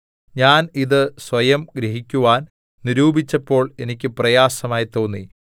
ഞാൻ ഇത് സ്വയം ഗ്രഹിക്കുവാൻ നിരൂപിച്ചപ്പോൾ എനിക്ക് പ്രയാസമായി തോന്നി